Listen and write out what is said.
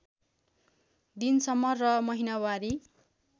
दिनसम्म र महिनावारी